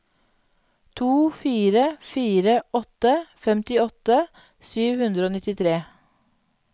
to fire fire åtte femtiåtte sju hundre og nittitre